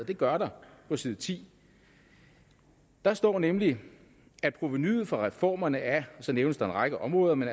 det gør der på side tiende der står nemlig at provenuet fra reformerne af og så nævnes der en række områder men